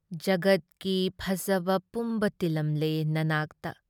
ꯖꯤꯒꯠꯀꯤ ꯐꯖꯕ ꯄꯨꯝꯕ ꯇꯤꯜꯂꯝꯂꯦ ꯅꯅꯥꯛꯇ ꯫